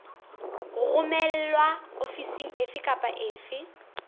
romelwa ofising efe kapa efe